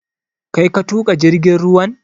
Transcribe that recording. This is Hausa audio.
Kai ka tuƙa jirgin ruwan?